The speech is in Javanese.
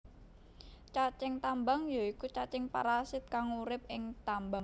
Cacing tambang ya iku cacing parasit kang urip ing tambang